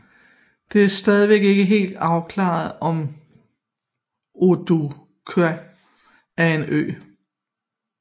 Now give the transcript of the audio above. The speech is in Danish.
Det er stadig ikke helt afklaret om Oodaaq er en ø